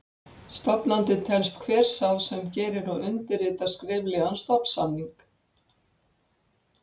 Stofnandi telst hver sá sem gerir og undirritar skriflegan stofnsamning.